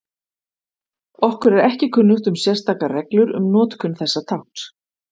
Okkur er ekki kunnugt um sérstakar reglur um notkun þessa tákns.